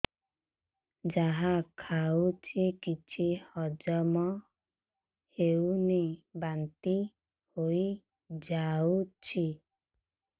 ଯାହା ଖାଉଛି କିଛି ହଜମ ହେଉନି ବାନ୍ତି ହୋଇଯାଉଛି